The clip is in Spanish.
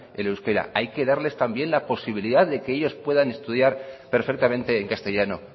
el euskera hay que darles también la posibilidad de que ellos pueden estudiar perfectamente en castellano